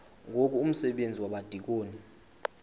ngoku umsebenzi wabadikoni